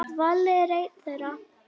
Valli var einn þeirra.